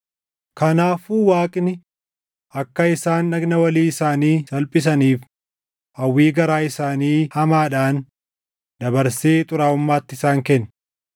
Kanaafuu Waaqni akka isaan dhagna walii isaanii salphisaniif hawwii garaa isaanii hamaadhaan dabarsee xuraaʼummaatti isaan kenne.